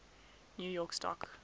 new york stock